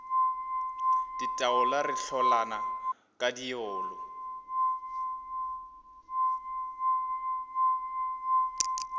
ditaola re hlolana ka diolo